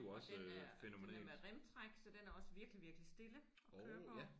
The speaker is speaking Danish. Og den er den er med remtræk så den er også virkelig virkelig stille at køre på